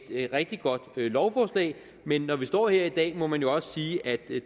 et rigtig godt lovforslag men når vi står her i dag må man jo også sige at det